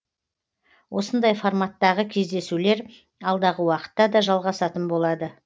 осындай форматтағы кездесулер алдағы уақытта да жалғасатын болады